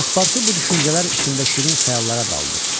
Paspartu bu düşüncələr içində şirin xəyallara daldı.